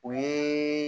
O ye